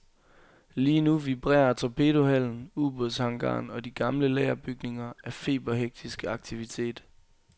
Lige nu vibrerer torpedohallen, ubådshangaren og de gamle lagerbygninger af feberhektisk aktivitet.